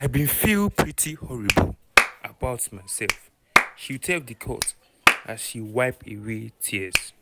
"i bin feel pretty horrible about myself" she tell di court as she she wipe away tears.